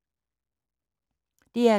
DR2